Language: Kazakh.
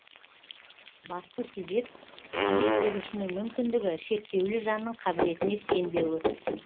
басты себеп жұмыс берушінің мүмкіндігі шектеулі жанның қабілетіне сенбеуі